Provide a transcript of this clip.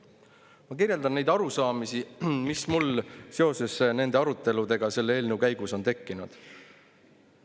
Ma kirjeldan neid arusaamisi, mis mul seoses selle eelnõu aruteludega on tekkinud.